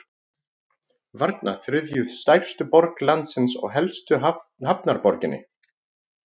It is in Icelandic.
Varna, þriðju stærstu borg landsins og helstu hafnarborginni.